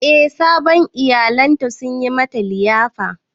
Eh sabon iyalan ta sun yi mata liyafar.